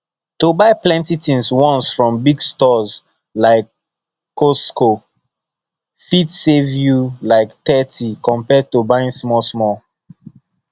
to buy plenty things once from big stores like costco fit save you like thirty compared to buying smallsmall